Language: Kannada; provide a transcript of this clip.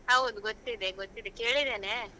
ಹೌದು ಗೊತ್ತಿದೆ ಗೊತ್ತಿದೆ ಕೇಳಿದ್ದೇನೆ.